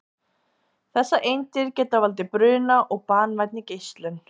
Þessar eindir geta valdið bruna og banvænni geislun.